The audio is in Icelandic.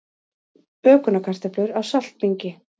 Bökunarkartöflur á saltbingi